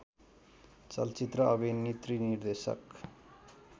चलचित्र अभिनेत्री निर्देशक